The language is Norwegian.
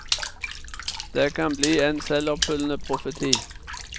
Det kan bli en selvoppfyllende profeti.